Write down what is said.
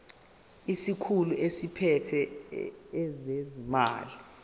isikhulu esiphethe ezezimali